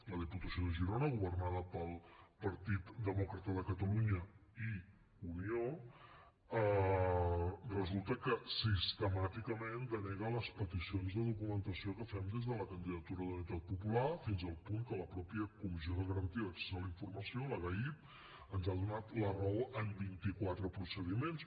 la diputació de girona governada pel partit demòcrata de catalunya i unió resulta que sistemàticament denega les peticions de documentació que fem des de la candidatura d’unitat popular fins al punt que la mateixa comissió de garantia d’accés a la informació la gaip ens ha donat la raó en vint i quatre procediments